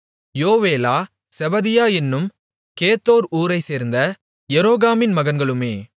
Joelah Zebadiah என்னும் Gedor ஊரைச்சேர்ந்த எரோகாமின் மகன்களுமே